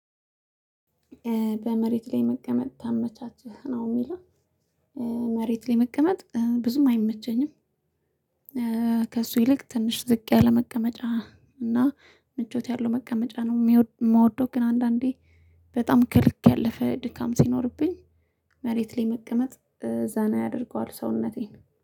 በመሬት ላይ መቀመጥ ታመቻችህ ነው የሚለው? መሬት ላይ መቀመጥ ብዙም አይመቸኝም። ከእሱ ይልቅ ትንሽ ዝቅ ያለ መቀመጫ እና ምቾት ያለው መቀመጫ ነው የምወደው። ግን አንዳንዴ በጣም ክልክ ያለፈ ድካም ሲኖርብኝ መሬት ላይ መቀመጥ ዛና ያደርገዋል ሰውነቴን